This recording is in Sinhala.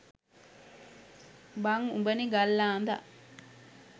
බං උඹනෙ ගල් ආඳා